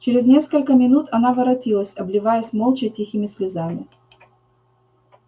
через несколько минут она воротилась обливаясь молча тихими слезами